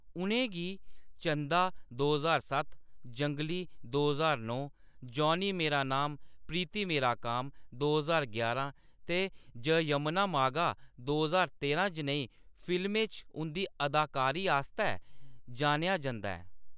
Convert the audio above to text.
उʼनें गी चंदा दो ज्हार सत्त, जंगली दो ज्हार नौ, जॉनी मेरा नाम प्रीति मेरा काम दो ज्हार यारां ते जयम्मना मागा दो ज्हार तेरां जनेही फिल्में च उंʼदी अदाकारी आस्तै जानेआ जंदा ऐ।